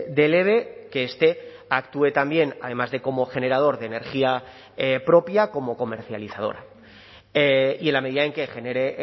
del eve que este actúe también además de como generador de energía propia como comercializadora y en la medida en que genere